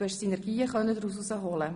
Du konntest Synergien daraus ableiten.